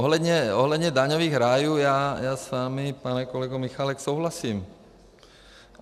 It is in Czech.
Ohledně daňových rájů, já s vámi, pane kolego Michálku, souhlasím.